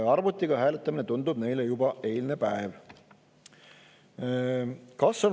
Arvutiga hääletamine tundub neile juba eilne päev.